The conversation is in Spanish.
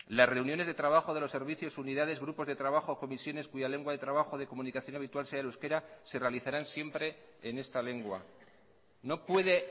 las reuniones de trabajo de los servicios unidades grupos de trabajo o comisiones cuya lengua de trabajo de comunicación habitual sea el euskera se realizarán siempre en esta lengua no puede